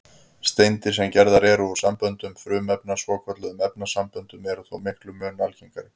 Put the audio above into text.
Steindir, sem gerðar eru úr samböndum frumefna, svokölluðum efnasamböndum, eru þó miklum mun algengari.